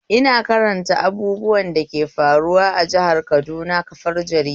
Ina karanta abubuwan dake faruwa a jihar Kaduna kafar jarida